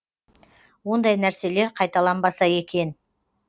ондай нәрселер қайталанбаса екен